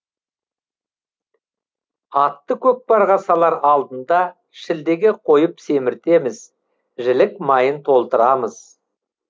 атты көкпарға салар алдында шілдеге қойып семіртеміз жілік майын толтырамыз